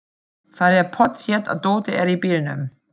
Það er pottþétt að dótið er í bílnum!